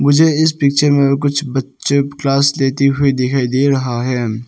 मुझे इस पिक्चर में कुछ बच्चे क्लास लेती हुई दिखाई दे रहा है।